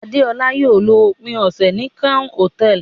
Adeola yóò lo ópin ọsẹ ni Crown Hotẹẹli